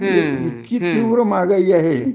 इतकी तीव्र महागाई आहे